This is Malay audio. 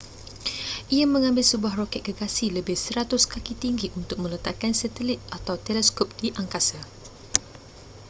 ia mengambil sebuah roket gergasi lebih 100 kaki tinggi untuk meletakkan satelit atau teleskop di angkasa